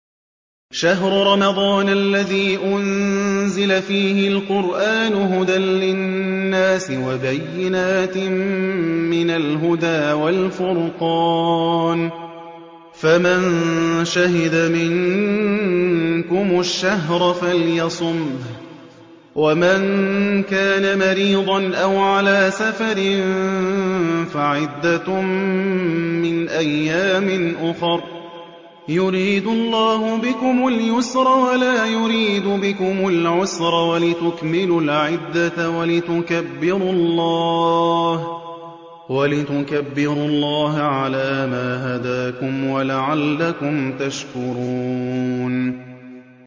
شَهْرُ رَمَضَانَ الَّذِي أُنزِلَ فِيهِ الْقُرْآنُ هُدًى لِّلنَّاسِ وَبَيِّنَاتٍ مِّنَ الْهُدَىٰ وَالْفُرْقَانِ ۚ فَمَن شَهِدَ مِنكُمُ الشَّهْرَ فَلْيَصُمْهُ ۖ وَمَن كَانَ مَرِيضًا أَوْ عَلَىٰ سَفَرٍ فَعِدَّةٌ مِّنْ أَيَّامٍ أُخَرَ ۗ يُرِيدُ اللَّهُ بِكُمُ الْيُسْرَ وَلَا يُرِيدُ بِكُمُ الْعُسْرَ وَلِتُكْمِلُوا الْعِدَّةَ وَلِتُكَبِّرُوا اللَّهَ عَلَىٰ مَا هَدَاكُمْ وَلَعَلَّكُمْ تَشْكُرُونَ